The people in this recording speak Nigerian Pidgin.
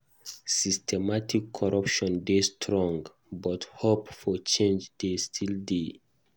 Systemic corruption dey strong, but hope for change dey still dey.